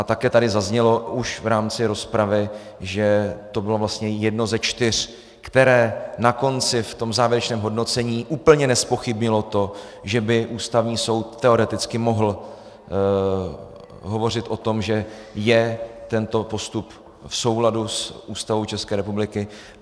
A také tady zaznělo už v rámci rozpravy, že to bylo vlastně jedno ze čtyř, které na konci v tom závěrečném hodnocení úplně nezpochybnilo to, že by Ústavní soud teoreticky mohl hovořit o tom, že je tento postup v souladu s Ústavou České republiky.